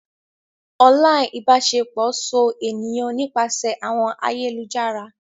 Online ibaṣepọ so eniyan nipasẹ awọn ayelujara.